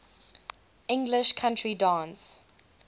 english country dance